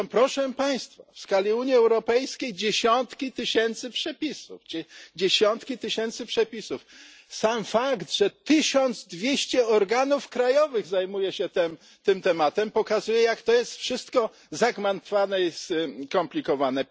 To są, proszę Państwa, w skali Unii Europejskiej dziesiątki tysięcy przepisów, dziesiątki tysięcy przepisów. Sam fakt, że 1200 organów krajowych zajmuje się tym tematem, pokazuje, jak to jest wszystko zagmatwane i skomplikowane.